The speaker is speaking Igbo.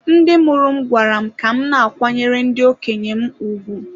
Ndị mụrụ m gwara m ka m na-akwanyere ndị okenye m ùgwù.